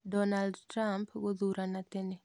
Donald Trump gũthurana tene.